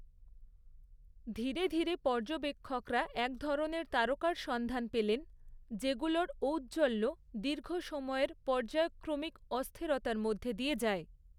ধীরে ধীরে পর্যবেক্ষকরা এক ধরনের তারকার সন্ধান পেলেন, যেগুলোর ঔজ্জ্বল্য দীর্ঘ সময়ের পর্যায়ক্রমিক অস্থিরতার মধ্য দিয়ে যায়।